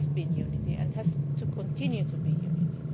It has been unity and it has to continue to be unity.